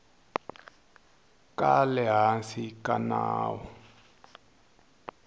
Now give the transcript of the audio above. ka le hansi ka nawu